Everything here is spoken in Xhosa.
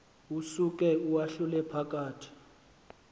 usuke uwahlule phakathi